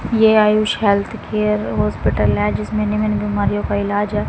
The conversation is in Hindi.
ये आयुष हेल्थ केयर हॉस्पिटल है जिसमें निम्न बीमारियों का इलाज है।